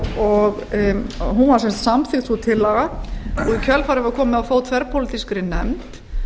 og hún var samþykkt sú tillaga og í kjölfarið var komið á fót þverpólitískri nefnd